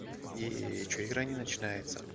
и что игра не начинается